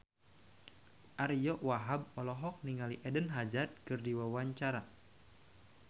Ariyo Wahab olohok ningali Eden Hazard keur diwawancara